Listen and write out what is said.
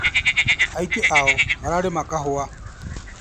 Aingĩ ao mararĩma kahũa.